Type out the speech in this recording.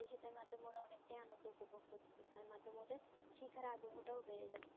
অনেক তা আন্নন্দ উপভোগ করতে তার মাধে মদদে শিক্ষার আগ্রহ টা বেড়ে যাচ্ছে